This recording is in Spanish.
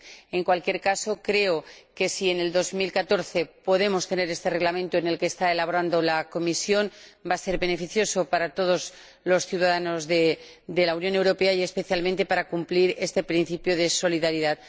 En cualquier caso, creo que, si en el año 2014 podemos tener este Reglamento que está elaborando la Comisión, ello va a ser beneficioso para todos los ciudadanos de la Unión Europea y, especialmente, para cumplir el principio de solidaridad.